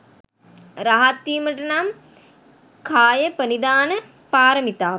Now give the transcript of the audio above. රහත්වීමට නම් කායප්‍රනිධාන පාරමිතාව